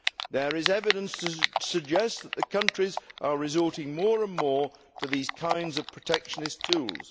There is evidence to suggest that countries are resorting more and more to these kinds of protectionist tools.